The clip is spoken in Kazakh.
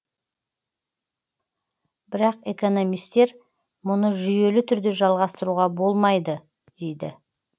бірақ экономистер мұны жүйелі түрде жалғастыруға болмайды дейді